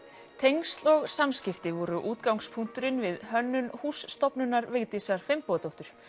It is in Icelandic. tengsl og samskipti voru útgangspunkturinn við hönnun húss stofnunar Vigdísar Finnbogadóttur